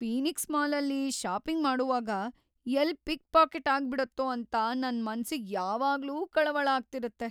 Phoenix ಮಾಲಲ್ಲಿ shopping ಮಾಡೋವಾಗ ಎಲ್ಲ್ ಪಿಕ್‌ ಪಾಕೆಟ್‌ ಆಗ್ಬಿಡತ್ತೋ ಅಂತ ನನ್‌ ಮನ್ಸಿಗ್ ಯಾವಾಗ್ಲೂ ಕಳವಳ ಆಗ್ತಿರತ್ತೆ.